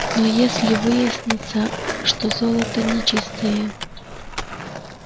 но если выяснится что золото нечистое